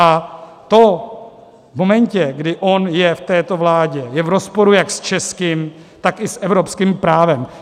A to v momentě, kdy on je v této vládě, je v rozporu jak s českým, tak i s evropským právem.